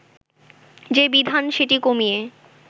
যে বিধান সেটি কমিয়ে